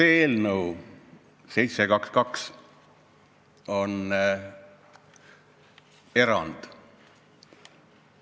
Eelnõu 722 on erand.